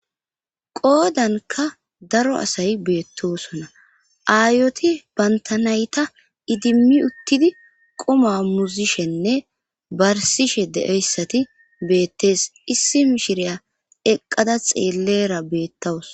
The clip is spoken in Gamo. qoodanka daro asay beettosona aayoti bantanayta idimmi uttidi quma muzishenne barsishe de7eyssati beettees issi mishiriya eqqada xeellera beettawus